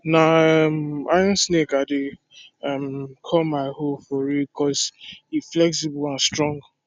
na um iron snake i dey um call ma hoe for ridge cos e flexible and strong